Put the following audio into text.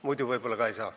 Muidu võib-olla ka ei saa.